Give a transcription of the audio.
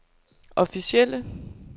officielle